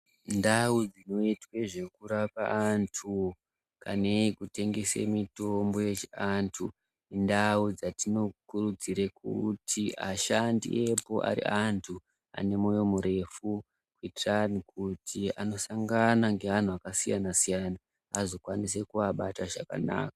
Ndau dzinoitwe nezvekurapwa antu neye kutengese mitombo yechiandu ndau dzatinokuridzire kuti ashandi epo ave antu ane moyo murefu ngendaa yekuti anosangana neantu akasiyana siyana agokwanisa kuabata zvakanaka.